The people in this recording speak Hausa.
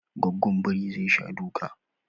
Gwaggon biri zai sha duka